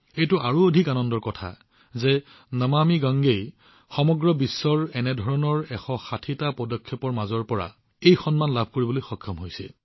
এইটো অধিক আনন্দৰ বিষয় যে নমামি গংগেয়ে সমগ্ৰ বিশ্বৰ পৰা এনে ১৬০ টা পদক্ষেপৰ মাজত এই সন্মান লাভ কৰিছে